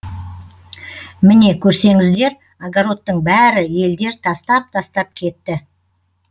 міне көрсеңіздер огородтың бәрі елдер тастап тастап кетті